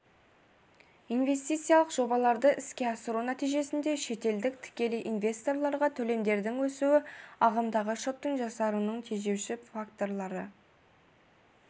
инвестициялық жобаларды іске асыру нәтижесінде шетелдік тікелей инвесторларға төлемдердің өсуі ағымдағы шоттың жақсаруының тежеуші факторлары